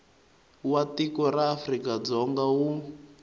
wa tiko ra afrikadzonga wu